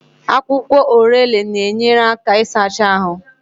Akwụkwọ Orele na-enyere aka isachaa ahụ.